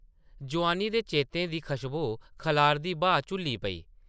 जोआनी दे चेतें दी खश्बो खलारदी ब्हा झुल्ली पेई ।